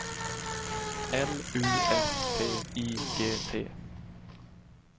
L U S T I G T